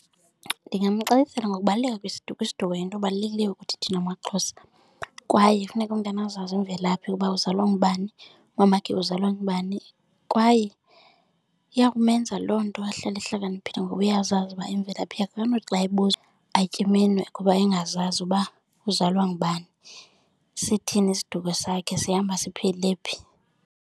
Ndingamxelela ngokubaluleka kwesiduko. Isiduko iyinto ebalulekileyo kuthi thina maXhosa kwaye kufuneka umntana azazi imvelaphi ukuba uzalwa ngubani, umamakhe uzalwa ngubani. Kwaye iya kumenza loo nto ahlale ehlakaniphile ngoba uyazazi uba imvelaphi yakhe. Akanothi xa ebuzwa atye iminwe kuba engazazi uba uzalwa ngubani, sithini isiduko sakhe, sihamba siphele phi.